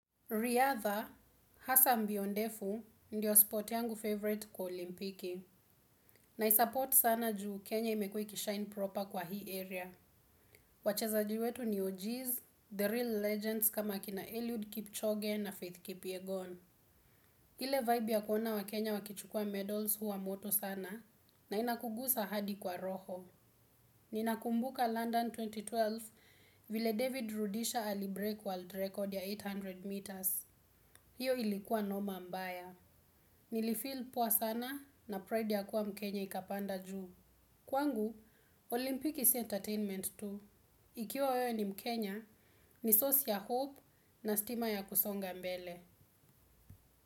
Riadha, hasa mbio ndefu, ndiyo spot yangu favorite kwa olimpiki. Na isupport sana juu Kenya imekuwa ikishine proper kwa hii area. Wachezaji wetu ni OGs, The Real Legends kama akina Eliud Kipchoge na Faith Kipyegon. Ile vibe ya kuona wakenya wakichukuwa medals huwa moto sana na inakugusa hadi kwa roho. Ninakumbuka London elfu mbili na kumi na mbili vile David Rudisha alibreake world record ya mia nane meters. Hiyo ilikuwa noma mbaya. Nilifeell poa sana na pride ya kuwa mkenya ikapanda juu. Kwangu, Olimpiki si entertainment tu. Ikiwa wewe ni mkenya, ni source ya hope na stima ya kusonga mbele.